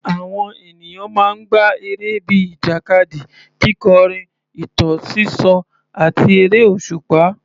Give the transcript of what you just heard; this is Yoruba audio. Àwọn ènìyàn máa ń gbá eré bíi ìjàkadì, kíkọrin, ìtàn sísọ, àti eré òṣùpá.